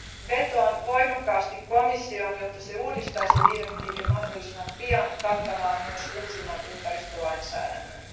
Vetoan voimakkaasti komissioon, jotta se uudistaisi direktiivin mahdollisimman pian kattamaan myös uusimman ympäristölainsäädännön.